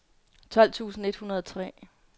tolv tusind et hundrede og tre